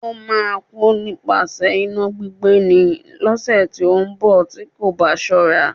Ó máa kú nípasẹ̀ iná gbígbé ni, lọ́sẹ̀ tí ó ń bọ̀ tí kò bá ṣọ́ra.